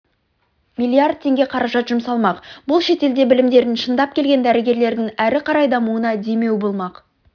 миллиард теңге қаражат жұмсалмақ бұл шетелде білімдерін шыңдап келген дәрігерлердің әрі қарай дамуына демеу болмақ